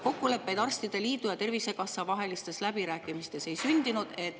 Kokkuleppeid arstide liidu ja Tervisekassa vahelistes läbirääkimistes ei sündinud.